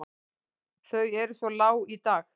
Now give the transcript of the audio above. Þau eru svo lág í dag.